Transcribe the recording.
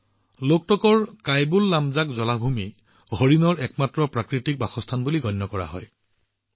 কাইবুললামজা লোগটক হ্ৰদক জলাভূমি হৰিণৰ একমাত্ৰ প্ৰাকৃতিক বাসস্থান বুলি গণ্য কৰা হয়